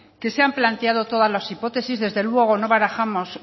que se han planteado todas las hipótesis desde luego no barajamos